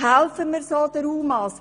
Helfen wir so den UMA?